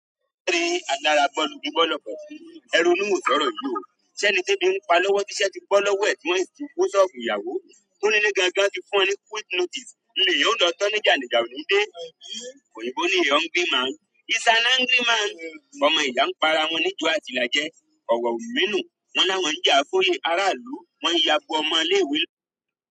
Ṣé ẹni tí ebi ń pa lọ́wọ́ tí iṣẹ́ tí bọ́ lọ́wọ́ é, tí wọn sì ti ko soóbu ìyàwó, t' onílé gangan ti fún wọn ní quick notice, l' èyàn ò lo to ni jà, ni ìjà onide. Òyìnbó ní "A hungry man is an angry man". Ọmọ ẹ̀dá pa ra wọn ni jo àti ilaje owó ò mi nu, wọ́n l' àwọn ja f'oye ara ìlú wọn ya bo ọmọ ilé-ìwé.